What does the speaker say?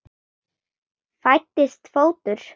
Fæddist fótur.